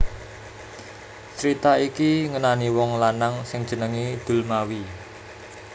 Crita iki ngenani wong lanang sing jenengé Dulmawi